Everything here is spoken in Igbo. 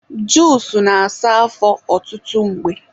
juusu na-asa afọ ọtụtụ mgbe